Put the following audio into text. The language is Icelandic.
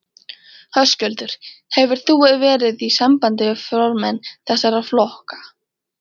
Höskuldur: Hefur þú verið í sambandið við formenn þessara flokka?